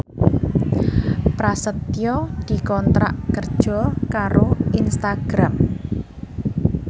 Prasetyo dikontrak kerja karo Instagram